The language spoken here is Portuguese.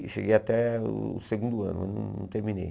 Eu cheguei até o segundo ano, não terminei.